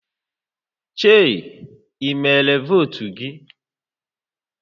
Chei i mere votu gi?